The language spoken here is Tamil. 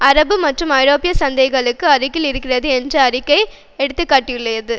அரபு மற்றும் ஐரோப்பிய சந்தைகளுக்கு அருகில் இருக்கிறது என அறிக்கை எடுத்து காட்டியுள்ளது